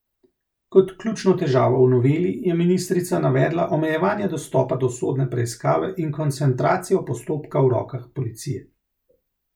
Kot ključno težavo v noveli je ministrica navedla omejevanje dostopa do sodne preiskave in koncentracijo postopka v rokah policije.